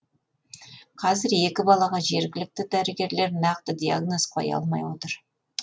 қазір екі балаға жергілікті дәрігерлер нақты диагноз қоя алмай отыр